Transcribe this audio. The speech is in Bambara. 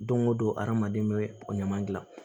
Don o don adamaden bɛ o ɲama dilan